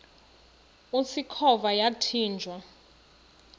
usikhova yathinjw a